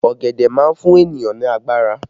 Ọ̀gẹ̀dẹ̀ má fún ènìyàn ní agbára